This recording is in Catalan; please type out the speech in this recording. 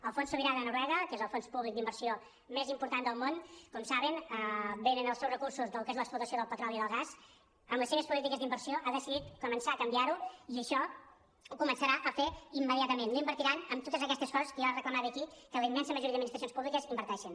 el fons sobirà de noruega que és el fons públic d’inversió més important del món com saben venen els seus recursos del que és l’explotació del petroli i del gas amb les seves polítiques d’inversió ha decidit començar a canviar ho i això ho començarà a fer immediatament no invertiran en totes aquestes coses que jo ara reclamava aquí en què la immensa majoria d’administracions públiques inverteixen